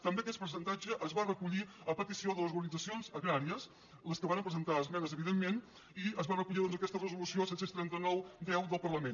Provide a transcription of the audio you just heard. també aquest percentat·ge es va recollir a petició de les organitzacions agràries les que varen presentar esmenes evidentment i es va recollir doncs a aquesta resolució set cents i trenta nou x del parla·ment